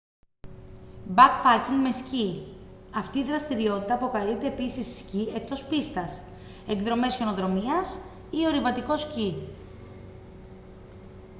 backpacking με σκι αυτή η δραστηριότητα αποκαλείται επίσης σκι εκτός πίστας εκδρομές χιονοδρομίας ή ορειβατικό σκι